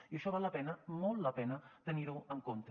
i això val la pena molt la pena tenir ho en compte